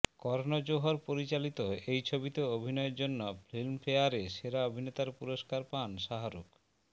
কর্ণ জোহর পরিচালিত এই ছবিতে অভিনয়ের জন্য ফিল্মফেয়ারে সেরা অভিনেতার পুরস্কার পান শাহরুখ